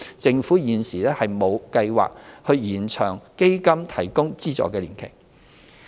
政府現時亦沒有計劃延長基金提供資助的年期。